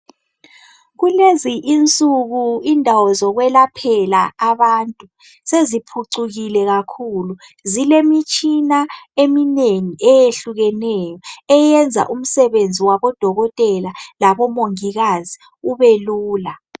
Kulezi insuku, indawo zokwelaphela abantu, seziphucukile kakhulu. Zilemitshina eminengi eyehlukeneyo. Eyenza umsebenzi wabodokotela, labomongikazi ubelula.